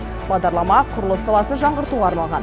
бағдарлама құрылыс саласын жаңғыртуға арналған